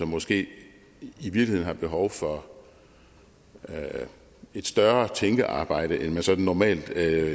måske i virkeligheden er behov for et større tænkearbejde end der sådan normalt